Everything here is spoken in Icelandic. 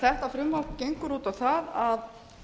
þetta frumvarp gengur út á það að